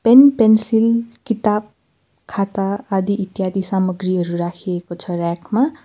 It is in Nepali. पेन्सिल किताब खाता आदि इत्यादि सामग्रीहरू राखिएको छ रयाक मा।